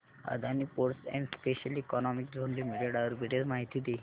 Adani ports and special economic zone limited arbitrage माहिती दे